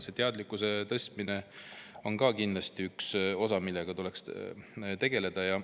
Teadlikkuse tõstmine on kindlasti üks asi, millega tuleks tegeleda.